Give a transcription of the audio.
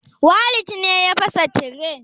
Walid ne ya fasa tire